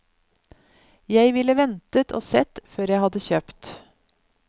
Jeg ville ventet og sett før jeg hadde kjøpt.